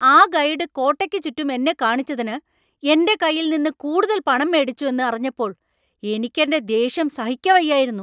ആ ഗൈഡ് കോട്ടയ്ക്ക് ചുറ്റും എന്നെ കാണിച്ചതിന് എന്‍റെ കയ്യിൽ നിന്ന് കൂടുതൽ പണം മേടിച്ചു എന്ന് അറിഞ്ഞപ്പോൾ എനിക്ക് എന്‍റെ ദേഷ്യം സഹിക്കവയ്യായിരുന്നു.